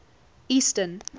eastern